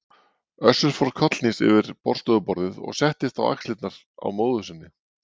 Össur fór kollhnís yfir borðstofuborðið og settist á axlirnar á móður sinni.